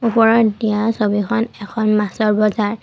ওপৰত দিয়া ছবিখন এখন মাছৰ বজাৰ।